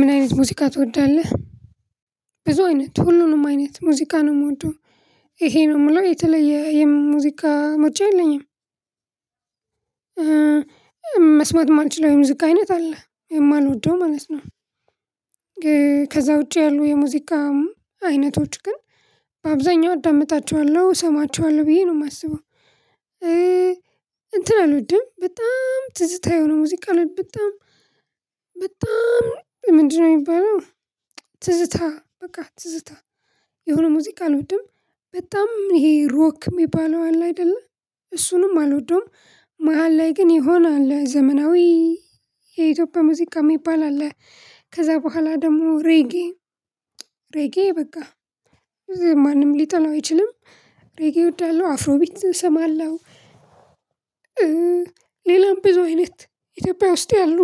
ምን አይነት ሙዚቃ ትወዳለህ? ብዙ አይነት ሁሉንም አይነት ሙዚቃ ነው። የምወደው ይሄ ነው የምለው የተለየ የሙዚቃ ምርጫ የለኝም መስማት የማንችለው የሙዚቃ አይነት አለ። የማልወደው ማለት ነው። ከዛ ውጪ ያሉ የሙዚቃ አይነቶች ግን በአብዛኛው አዳምጣቸዋለሁ፤ እሰማቸዋለሁ ብዬ ነው የማስበው። እ እንትን አልወድም በጣም ትዝታ የሆነ ሙዚቃ በጣም በጣም ምንድነው የሚባለው ትዝታ በቃ ትዝታ የሆነ ሙዚቃ አልወድም። በጣም ይሄ ሮክ የሚባለው አለ አይደለ እሱንም አልወደውም። መሃል ላይ ግን ይሆናል ዘመናዊ የኢትዮጵያ ሙዚቃ የሚባል አለ። ከዛ በኋላ ደግሞ ሬጌ ሬጌ በቃ ማንም ሊጠላው አይችልም። ሬጌ እወዳለሁ፤ አፍሮ ቢትም እሰማለሁ። ሌላም ብዙ አይነት ኢትዮጵያ ውስጥ ያሉ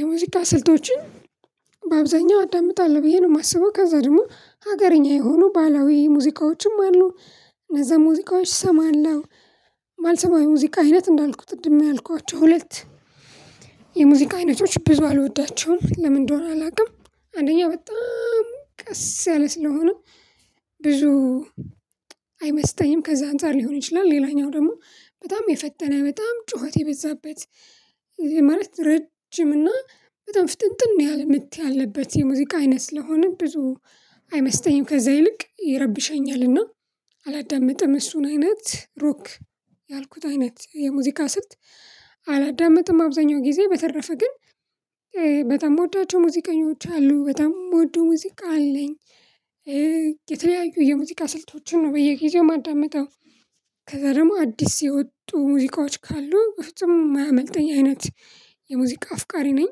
የሙዚቃ ስልቶችን በአብዛኛው አዳምጣለሁ ብዬ ነው የማስበው። ከዛ ደግሞ ሀገረኛ የሆኑ ባላዊ ሙዚቃዎችም አሉ። እነዛ ሙዚቃዎች እሰማለሁ የማልሰማው ሙዚቃ አይነት እንዳልኩት ቅድም ያልኳቸው ሁለት የሙዚቃ አይነቶች ብዙ አልወዳቸውም። ለምን እንደሆነ አላውቅም፤ አንደኛ በጣም ቀስ ያለ ስለሆነ ብዙ አይመስጠኝም ከዛ አንፃር ሊሆን ይችላል። ሌላኛው ደግሞ በጣም የፈጠነ በጣም ጩኸት የበዛበት ማለት ረጅም እና በጣም ፍጥንጥን ያለ ምት ያለበት የሙዚቃ አይነት ስለሆነ ብዙ አይመስጠኝም። ከዛ ይልቅ ይረብሸኛል። እና አላዳምጥም እሱን አይነት ሮክ ያልኩት አይነት የሙዚቃ ስልት አላዳምጥም አብዛኛው ጊዜ። በተረፈ ግን በጣም ምወዳቸው ሙዚቀኞች አሉ። በጣም የምወደው ሙዚቃ አለኝ። የተለያዩ የሙዚቃ ስልቶችን ነው በየጊዜው ማዳምጠው ከዛ ደግሞ አዲስ የወጡ ሙዚቃዎች ካሉ በፍጹም የማያመልጠኝ አይነት የሙዚቃ አፍቃሪ ነኝ።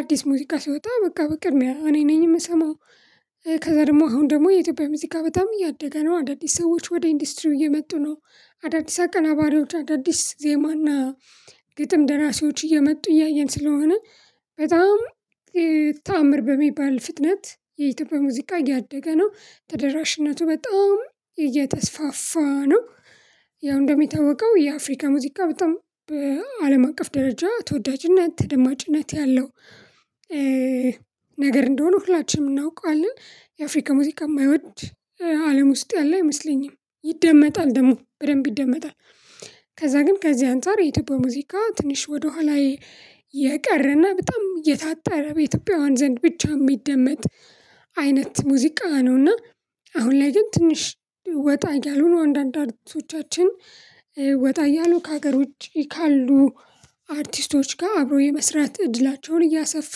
አዲስ ሙዚቃ ሲወጣ በቃ በቅድሚያ እኔ ነኝ የምሰማው። ከዛ ደግሞ አሁን ደግሞ የኢትዮጵያ ሙዚቃ በጣም እያደገ ነው። አዳዲስ ሰዎች ወደ ኢንዱስትሪው እየመጡ ነው። አዳዲስ አቀናባሪዎች አዳዲስ ዜማና ግጥም ደራሲዎች እየመጡ እያየን ስለሆነ በጣም ተአምር በሚባል ፍጥነት የኢትዮጵያ ሙዚቃ እያደገ ነው። ተደራሽነቱ በጣም እየተስፋፋ ነው። ያው እንደሚታወቀው የአፍሪካ ሙዚቃ በጣም በአለም አቀፍ ደረጃ ተወዳጅነት ተደማጭነት ያለው ነገር እንደሆነ ሁላችንም እናውቃለን። የአፍሪካ ሙዚቃ የማይወድ አለም ውስጥ ያለ አይመስለኝም። ይደመጣል ደግሞ በደንብ ይደመጣል። ከዛ ግን ከዚህ አንፃር የኢትዮጵያ ሙዚቃ ትንሽ ወደኋላ የቀረና በጣም የታጠረ በኢትዮጵያውያን ዘንድ ብቻ የሚደመጥ አይነት ሙዚቃ ነው። እና አሁን ላይ ግን ትንሽ ወጣ እያሉ ነው። አንዳንድ አርቲሶቻችን ወጣ እያሉ ከሀገር ውጪ ካሉ አርቲስቶች ጋር አብሮ የመስራት እድላቸውን እያሰፉ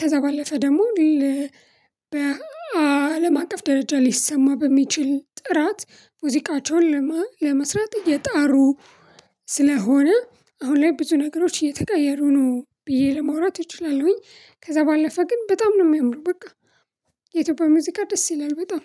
ከዛ ባለፈ ደግሞ በአለም አቀፍ ደረጃ ሊሰማ በሚችል ጥራት ሙዚቃቸውን ለመስራት እየጣሩ ስለሆነ አሁን ላይ ብዙ ነገሮች እየተቀየሩ ነው ብዬ ለመውራት እችላለሁኝ። ከዛ ባለፈ ግን በጣም ነው የሚሆነው በቃ የኢትዮጵያ ሙዚቃ ደስ ይላል በጣም።